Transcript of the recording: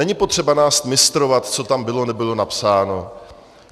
Není potřeba nás mistrovat, co tam bylo, nebylo napsáno.